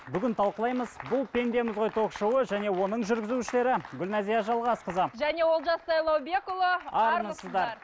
бүгін талқылаймыз бұл пендеміз ғой ток шоуы және оның жүргізушілері гүлназия жалғасқызы және олжас сайлаубекұлы армысыздар